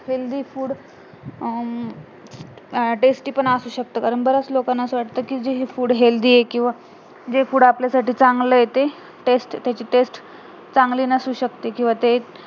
healthy food um tasty पण असू शकतात कारण बऱ्याच लोकांना असं वाटत कि जे हे food healthy आहे किंवा जे food आपल्या साठी चांगलं आहे ते taste त्याची taste चांगली नसू शकते किंवा ते